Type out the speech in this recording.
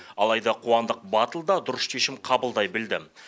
алайда қуандық батыл да дұрыс шешім қабылдай білді